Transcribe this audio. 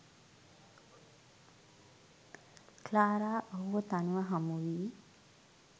Clara ඔහුව තනිව හමුවී